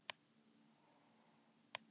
Við vonumst til að ástandið lagist.